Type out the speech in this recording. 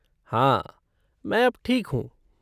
हाँ, मैं अब ठीक हूँ।